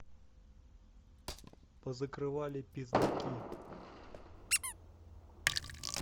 позакрывали пиздаки